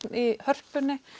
í Hörpunni